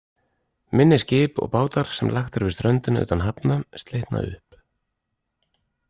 Minni skip og bátar, sem lagt er við ströndina utan hafna, slitna upp.